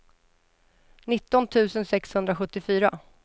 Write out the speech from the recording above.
nitton tusen sexhundrasjuttiofyra